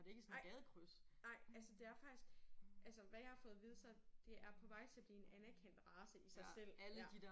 Nej nej altså det er faktisk altså hvad jeg har fået at vide så det er på vej til at blive en anerkendt race i sig selv ja